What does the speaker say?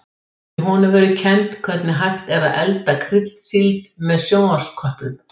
Í honum verður kennt hvernig hægt er að elda kryddsíld með sjónvarpsköplum.